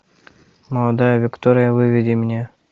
молодая виктория выведи мне